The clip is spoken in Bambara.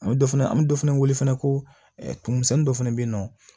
An bɛ dɔ fana an bɛ dɔ fana wele fana komisɛnnin dɔ fana bɛ yen nɔ